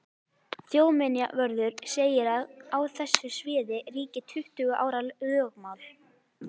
Þjóðminjavörður segir að á þessu sviði ríki tuttugu ára lögmál.